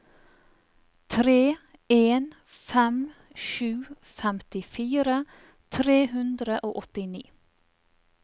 tre en fem sju femtifire tre hundre og åttini